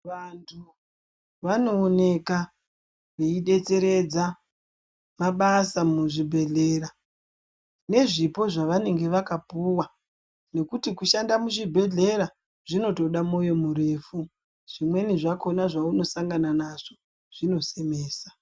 Vanthu vanooneka veidetseredza mabasa muzvibhedhlera nezvipo zvavanenge vakapuwa nekuti kushanda muzvibhedhlera zvinotoda moyo murefu zvimweni zvakona zvavanosangana nazvo zvinosemesa.